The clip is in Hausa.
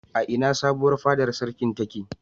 A ina sabuwar fadar sarki take?